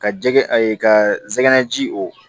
Ka jɛgɛ ka zɛgɛnɛ ji o